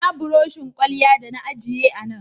Ina buroshin kwalya da na ajiye a Nan?0